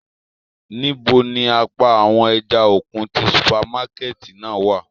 Nibo ni apa awọn ẹja-okun ti supamakẹti náa wa?